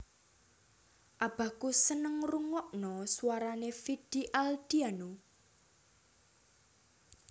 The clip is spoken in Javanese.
Abahku seneng ngerungokno suarane Vidi Aldiano